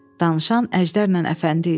Danışan Əjdərlə Əfəndi idi.